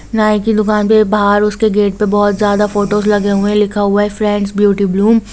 नाय की दूकान पे बहार उसके गेट पे बहुत जयादा फोटोस लगे हुए है लिखा हुआ है फ्रैंड्स ब्यूटी ब्लूम--